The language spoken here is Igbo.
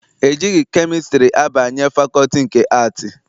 E jighị kemịstrị abanye fakọlti nke Aatị.